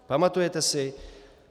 Pamatujete si?